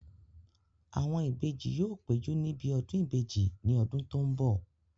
Àwọn ìbejì yóò péjú níbi ọdún ìbejì ní ọdún tó n bọ̀